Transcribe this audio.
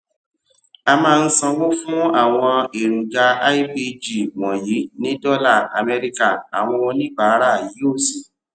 a máa ń sanwó fún àwọn èròjà lpg wọnyí ní dọlà amẹríkà àwọn oníbàárà yóò sì